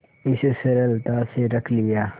इस सरलता से रख लिया